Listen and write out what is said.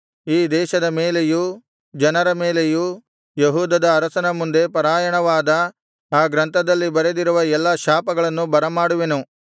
ಯೆಹೋವನು ಹೇಳಿದ್ದೇನೆಂದರೆ ಈ ದೇಶದ ಮೇಲೆಯೂ ಜನರ ಮೇಲೆಯೂ ಯೆಹೂದದ ಅರಸನ ಮುಂದೆ ಪಾರಾಯಣವಾದ ಆ ಗ್ರಂಥದಲ್ಲಿ ಬರೆದಿರುವ ಎಲ್ಲಾ ಶಾಪಗಳನ್ನು ಬರಮಾಡುವೆನು